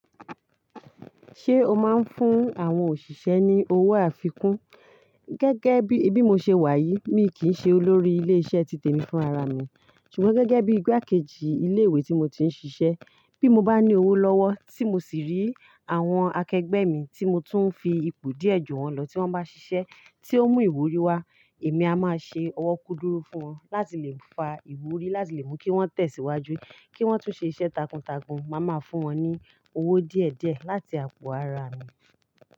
Ṣé o máa ń fún àwọn òṣìṣẹ́ ní owó àfikún? Gẹ́gẹ́ bí, bí mo ṣe wà yìí, mi kì í ṣe olórí ilé iṣẹ́ títè mi fúnra ra mi, ṣùgbọ́n gẹ́gẹ́ bí igbákejì ilé ìwé tí mo ti ń ṣiṣẹ́, bí mo bá ní owó lọ́wọ́ tí mo sì rí àwọn akẹgbẹ́ mi tí mo tún ń fi ipò díẹ̀ jù wọn lọ tí wọ́n bá ṣiṣẹ́ tí ó mú ìwúrí wá, èmi a máa ṣe ọwọ́ kúdùrú fún wọn láti lè fa ìwúrí láti lè mú kí wọ́n tẹ̀síwájú, kí wọ́n tún ṣe iṣẹ́ takuntakun, màá máa fún wọn ní owó díẹ̀ díẹ̀ láti àpò ara mi.